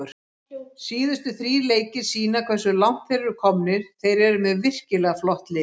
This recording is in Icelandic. Síðustu þrír leikir sýna hversu langt þeir eru komnir, þeir eru með virkilega flott lið.